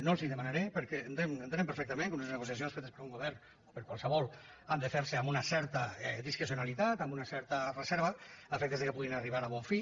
no els ho demanaré perquè entenem perfectament que unes negociacions fetes per un govern per qualsevol han de fer se amb una certa discrecionalitat amb una certa reserva a efectes que puguin arribar a bon fi